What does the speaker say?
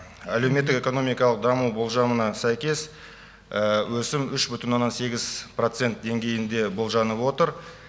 әлеуметтік экономикалық даму болжамына сәйкес өсім үш бүтін оннан сегіз процент деңгейінде болжанып отыр